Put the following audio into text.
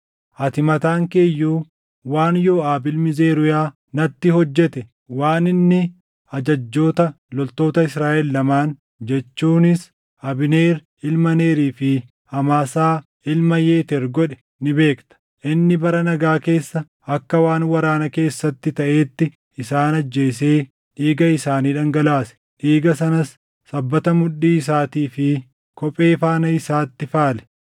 “Ati mataan kee iyyuu waan Yooʼaab ilmi Zeruuyaa natti hojjete, waan inni ajajjoota loltoota Israaʼel lamaan jechuunis Abneer ilma Neerii fi Amaasaa ilma Yeteer godhe ni beekta. Inni bara nagaa keessa akka waan waraana keessatti taʼeetti isaan ajjeesee dhiiga isaanii dhangalaase; dhiiga sanas sabbata mudhii isaatii fi kophee faana isaatti faale.